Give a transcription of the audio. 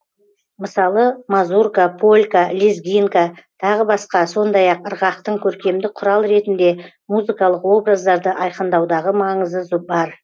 мысалы мазурка полька лезгинка тағы басқа сондай ақ ырғақтың көркемдік құрал ретінде музыкалық образдарды айқындаудағы маңызы бар